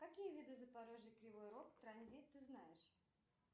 какие виды запорожье кривой рог транзит ты знаешь